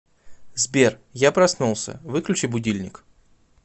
сбер я проснулся выключи будильник